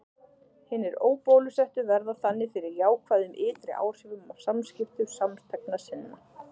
Hinir óbólusettu verða þannig fyrir jákvæðum ytri áhrifum af samskiptum samþegna sinna.